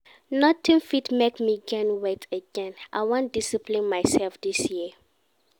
Nothing fit make me gain weight again, I wan discipline myself dis year